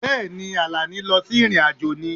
Bẹ́ẹ̀ ni, Àlàní lọ sí ìrìn-àjò ni